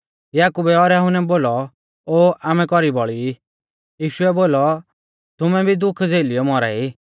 याकुबै और यहुन्नै बोलौ ओ आमै कौरी बौल़ी ई यीशुऐ बोलौ तुमै भी दुख झ़ेलियौ मौरा ई